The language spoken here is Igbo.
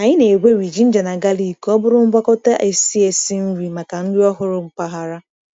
Anyị na-egweri ginger na galic ka ọ bụrụ ngwakọta esi esi nri maka nri ọhụrụ mpaghara.